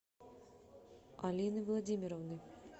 алины владимировны